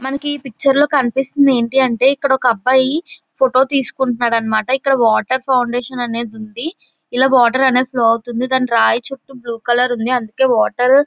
మనకి ఈ పిక్చర్ లో కనిపిస్తుంది ఏంటి అంటే ఇక్కడ ఒక అబ్బాయి ఫోటో తీసుకుంటున్నాడు అన్నమాట. ఇక్కడ వాటర్ ఫౌండేషన్ అనేది ఉంది. ఇక్కడ వాటర్ అనేది ఫ్లో అవుతుంది. దాని రాయి చుట్టూ బ్లూ కలర్ ఉంది. అందుకే వాటర్--